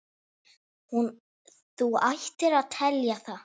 Þú ættir að telja það.